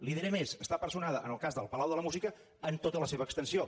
li diré més està personada en el cas del palau de la música en tota la seva extensió